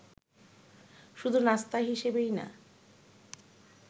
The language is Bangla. শুধু নাস্তা হিসেবেই না